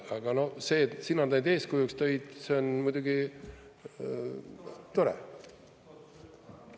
Aga see siin, et eeskujuks tõid, on muidugi tore.